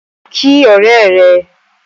Kí ọ̀rẹ́ rẹ!